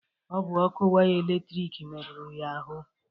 Ọ bụ ọkụ waya eletrik meruru ya ahụ.